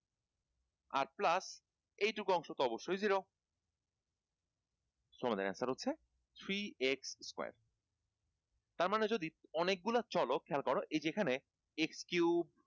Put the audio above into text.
আট plus এইটুকু অংশ অবশ্যই zero so আমাদের answer হচ্ছে three eight square তার মানে যদি অনেকগুলা চলক খেয়াল করো এই যে এখানে x cube